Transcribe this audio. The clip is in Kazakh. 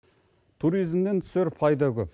туризмнен түсер пайда көп